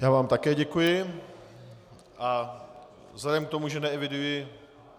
Já vám také děkuji a vzhledem k tomu, že neeviduji...